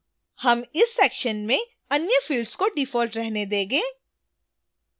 हम इस section में अन्य fields को default रहने देंगे